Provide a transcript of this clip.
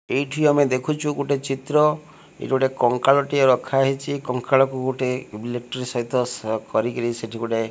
ଏଇଠି ଆମେ ଦେଖୁଚୁ ଗୋଟେ ଚିତ୍ର ଏଇଠି ଗୋଟେ କଙ୍କାଳ ଟିଏ ରଖା ହେଇଚି କଙ୍କାଳ କୁ ଗୋଟେ ଇଲେକ୍ଟ୍ରି ସହିତ ସା କରିକିରି ସେଇଠି ଗୋଟେ।